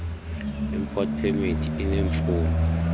import permit ineemfuno